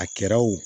A kɛra o